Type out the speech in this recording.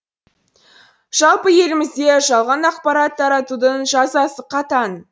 жалпы елімізде жалған ақпарат таратудың жазасы қатаң